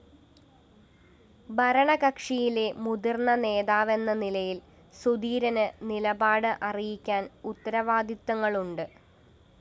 ഭരണകക്ഷിയിലെ മുതിര്‍ന്ന നേതാവെന്ന നിലയില്‍ സുധീരന് നിലപാട് അറിയിക്കാന്‍ ഉത്തരവാദിത്തങ്ങളുണ്ട്